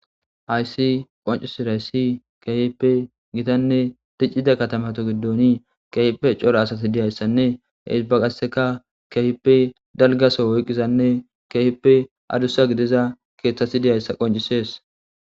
hayssi qoncisirayssi keehipe gitanne diccida katamata giddoni kehipe cora asati diyayssanne hehisbaqasseka kehipe dalgaso woyqqizanne kehippe adussa gideza keeththasi diyayssa qoncisees